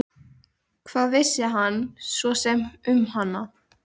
Hvað vissi hann svo sem um hana?